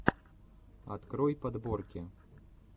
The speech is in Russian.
открой подборки